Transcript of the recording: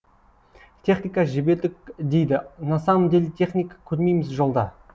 техника жібердік дейді на самом деле техника көрмейміз жолда